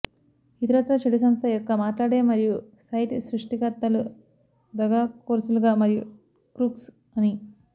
ఇతరత్రా చెడు సంస్థ యొక్క మాట్లాడే మరియు సైట్ సృష్టికర్తలు దగాకోరులుగా మరియు క్రూక్స్ అని